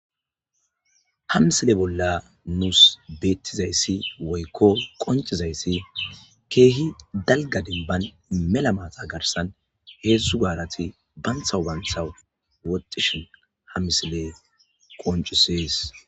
Ha misile bolla nusi betizaysi woyko qoncizays Keehi dalga dembani mela mata garsan hezdzdu garati bantawu bantawu woxishn ha misiley qoncises.